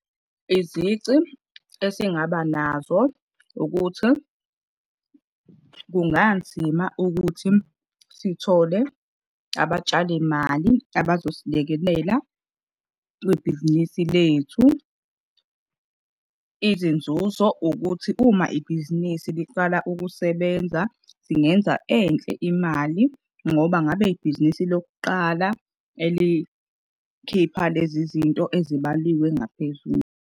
Izici esingaba nazo ukuthi kunganzima ukuthi sithole abatshalimali abazosilekelela kwibhizinisi lethu. Izinzuzo ukuthi uma ibhizinisi liqala ukusebenza singenza enhle imali ngoba ngabe ibhizinisi lokuqala elikhipha lezi zinto ezibaliwe ngaphezulu.